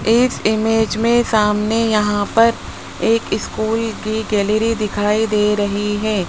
इस इमेज में सामने यहां पर एक स्कूल की गैलरी दिखाई दे रही है।